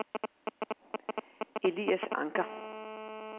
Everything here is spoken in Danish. Elias Anker